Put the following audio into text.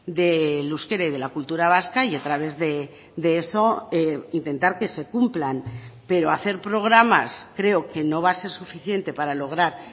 del euskera y de la cultura vasca y a través de eso intentar que se cumplan pero hacer programas creo que no va a ser suficiente para lograr